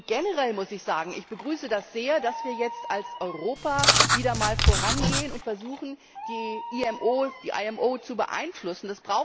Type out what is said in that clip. Generell muss ich sagen Ich begrüße das sehr, dass wir jetzt als Europa wieder einmal vorangehen und versuchen, die IMO zu beeinflussen.